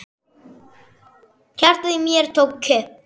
Hjartað í mér tók kipp.